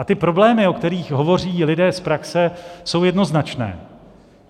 A ty problémy, o kterých hovoří lidé z praxe, jsou jednoznačné.